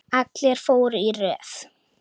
Allir fóru í röð.